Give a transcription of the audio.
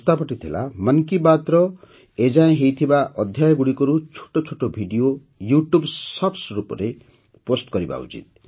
ପ୍ରସ୍ତାବଟି ଥିଲା ମନ୍ କି ବାତ୍ର ଏ ଯାଏଁ ହୋଇଥିବା ଅଧ୍ୟାୟଗୁଡ଼ିକରୁ ଛୋଟ ଛୋଟ ଭିଡିଓ ୟୁଟ୍ୟୁବ୍ ଶର୍ଟସ୍ ରୂପରେ କ୍ଟ୍ରକ୍ଟଗ୍ଦଗ୍ଧ କରିବା ଉଚିତ